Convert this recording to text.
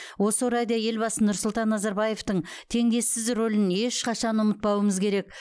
осы орайда елбасы нұрсұлтан назарбаевтың теңдессіз рөлін ешқашан ұмытпауымыз керек